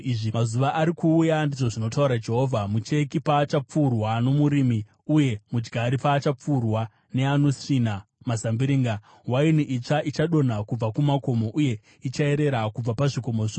“Mazuva ari kuuya,” ndizvo zvinotaura Jehovha, “mucheki paachapfuurwa nomurimi, uye mudyari paachapfuurwa neanosvina mazambiringa. Waini itsva ichadonha kubva kumakomo, uye ichayerera kubva pazvikomo zvose.